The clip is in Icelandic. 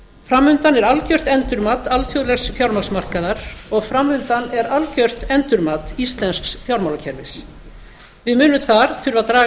fram undan er algjört endurmat alþjóðlegs fjármagnsmarkaðar og fram undan er algjört endurmat íslensks fjármálakerfis við munum þar þurfa að draga